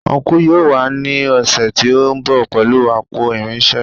Ọnkú yóò wá ní ọ̀sẹ̀ tí ó ń bọ̀ pẹ̀lú àpò irinṣẹ́